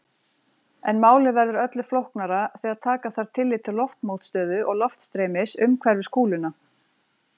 En málið verður öllu flóknara þegar taka þarf tillit til loftmótstöðu og loftstreymis umhverfis kúluna.